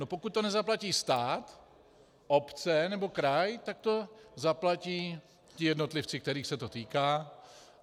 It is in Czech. No pokud to nezaplatí stát, obce nebo kraj, tak to zaplatí ti jednotlivci, kterých se to týká.